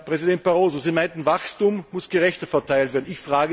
Herr Präsident Barroso, Sie meinten, Wachstum müsse gerechter verteilt werden.